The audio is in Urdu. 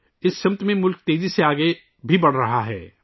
ملک بھی اس سمت میں تیزی سے آگے بڑھ رہا ہے